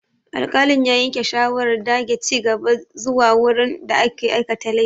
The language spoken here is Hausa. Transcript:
Alƙalin ya yanke shawarar dage ci gaba zuwa wurin da aka aikata laifin.